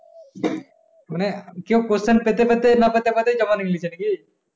কেউ question পেতে পেতে না পেতে পেতে জমা নিয়ে নিচ্ছে নাকি?